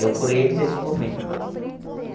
Eu por eles, eles por mim.